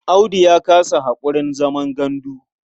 Audu ya kasa haƙurin zaman gandu.